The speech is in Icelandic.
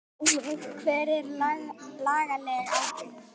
Hver er lagaleg ábyrgð?